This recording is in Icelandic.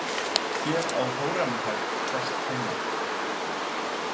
Hér á Hóremheb best heima.